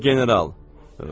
O general.